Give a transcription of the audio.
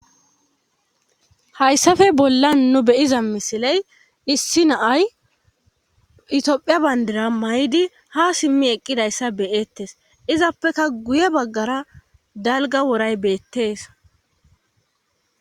hayssafe bollan nu beyiza misiley issi naay itophiya bayndira may7idi ha simmi eqqidayssa beyettes izappeka guye baggara dalga woray beettees